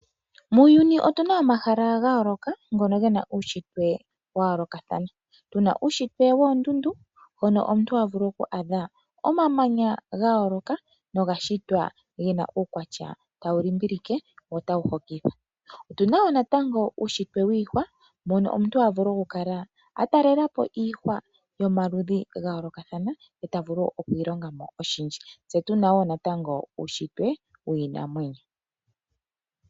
Muuyuni otuna omahala gayooloka ngono gena uushitwe wayoolokathana. Tuna uushitwe woondundu mpono omuntu havulu oku adha omamanya gayooloka nogashitwa gena uukwatya tawulimbilike wo tawuhokitha. Otuna woo natango uushitwe wiihwa mpono omuntu havulu okukala atalelapo iihwa yomaludhi gayoolokathana tavulu okwiilongamo oshindji. Tse tunawoo natango uushitwe wiinamwenyo.